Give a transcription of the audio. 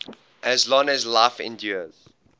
as long as life endures